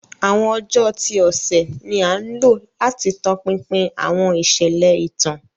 Awọn ọjọ ti ọsẹ ni a lo lati tọpinpin awọn iṣẹlẹ itan.